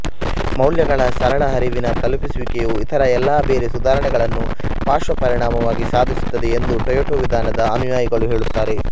ಮೌಲ್ಯಗಳ ಸರಳ ಹರಿವಿನ ತಲುಪಿಸುವಿಕೆಯು ಇತರ ಎಲ್ಲಾ ಬೇರೆ ಸುಧಾರಣೆಗಳನ್ನು ಪಾರ್ಶ್ವಪರಿಣಾಮವಾಗಿ ಸಾಧಿಸುತ್ತದೆ ಎಂದು ಟೊಯೋಟಾ ವಿಧಾನದ ಅನುಯಾಯಿಗಳು ಹೇಳುತ್ತಾರೆ